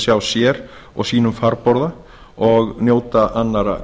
sjá sér og sínum farborða og njóta annarra